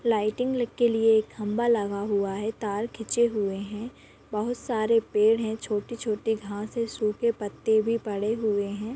Lighting ल के लिए एक खम्बा लगा हुआ हैं तार खिचे हुए हैं बहुत सारे पेड़ हैं छोटे छोटे घास है सूखे पत्ते भी पड़े हुए हैं।